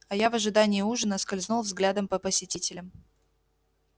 а я в ожидании ужина скользнул взглядом по посетителям